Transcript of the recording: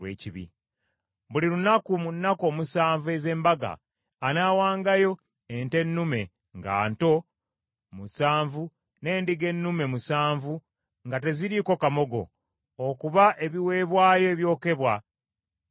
Buli lunaku mu nnaku omusanvu ez’embaga, anaawangayo ente ennume nga nto musanvu n’endiga ennume musanvu nga teziriiko kamogo, okuba ebiweebwayo ebyokebwa eri Mukama .